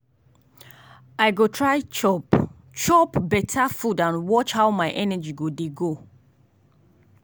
today i go calm down handle every task small small with focus